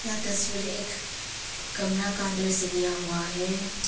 यह तस्वीर एक कमरा का अंदर से लिया हुआ है।